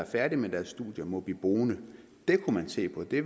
færdige med deres studier må blive boende det kunne man se på det